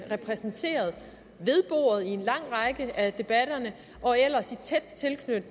repræsenteret ved bordet i en lang række af debatterne og ellers